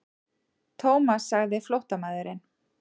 Thomas sagði flóttamaðurinn.